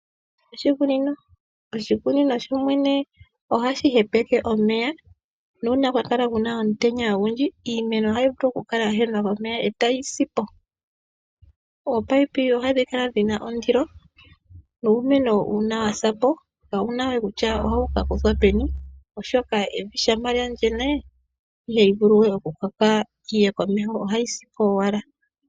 Oshikunino ohashi mana omeya. Nuuna kwa kala kaakuna omuloka iimeno ohai kala ya hala omeya eta yi si po. Ominino ohadhi kala dhina ondilo. Uumeno ngele wa si po kapuna we kutya otawu ka kuthwa peni oshoka shampa wa ganya ihawu vulu we okukoka ohawu si po owala.